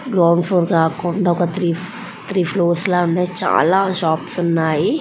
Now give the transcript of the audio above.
Ground floor కాకుండా three floors ఉన్నాయి. చాలా షాప్స్ ఉన్నాయి.